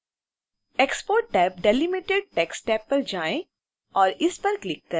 export tab delimited text tab पर जाएँ और इस पर क्लिक करें